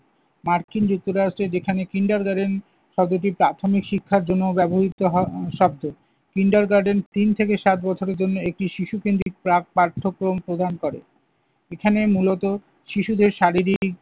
মার্কিন যুক্তরাষ্ট্রে যেখানে kindergarten শব্দটি প্রাথমিক শিক্ষার জন্য ব্যবহৃত হয় সবচেয়ে। kindergarten তিন থেকে সাত বছরের জন্য একটি শিশুকেন্দ্রিক প্রাক-পাঠক্রম প্রদান করে। এখানে মূলত শিশুদের শারীরিক